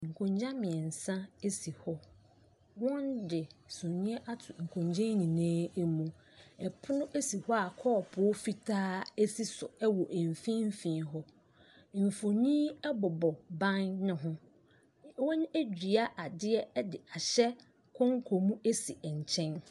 Nkonnwa mmeɛnsa si hɔ. Wɔde sumiiɛ ato nkonnwa yi nyinaa mu. Pono si hɔ a kɔɔpoo fitaa si so wɔ mfimfini hɔ. Mfonin bobɔ ban no ho. Wɔadua adeɛ de ahyɛ konko mu si nkyɛn.